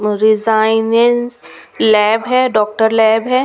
Resonance lab है doctor lab है.